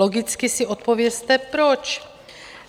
Logicky si odpovězte proč.